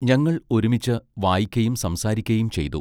ഞങ്ങൾ ഒരുമിച്ച് വായിക്കയും സംസാരിക്കയും ചെയ്തു.